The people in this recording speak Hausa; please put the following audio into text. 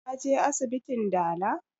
Ka je asibitin dala?